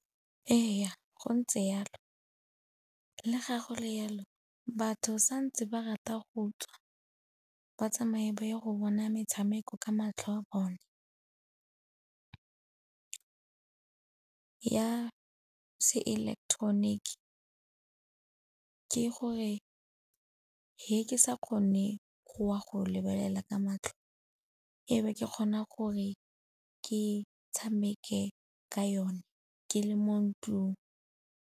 Ee, go ntse jalo. Le ga go le jalo batho santse ba rata go tswa ba tsamaye ba ye go bona metshameko ka matlho a bone. Ya se ileketeroniki ke gore ge ke sa kgone go wa go lebelela ka matlho e be ke kgona gore ke tshameke ka yone ke le mo ntlung.